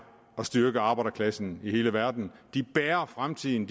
at styrke arbejderklassen i hele verden de bærer fremtiden